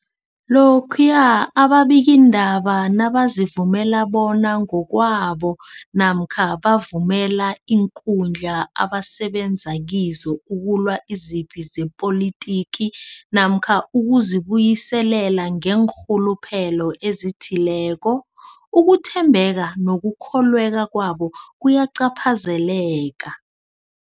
Lokhuya ababikiindaba nabazivumela bona ngokwabo namkha bavumele iinkundla abasebenza kizo ukulwa izipi zepolitiki namkha ukuzi buyiselela ngeenrhuluphelo ezithileko, ukuthembeka nokukholweka kwabo kuyacaphazeleka.